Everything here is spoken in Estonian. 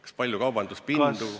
Kas palju kaubanduspinda?